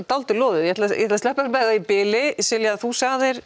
dálítið loðið ég ætla að sleppa þér með það í bili Silja þú sagðir